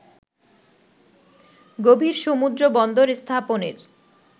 গভীর সমুদ্রবন্দর স্থাপনের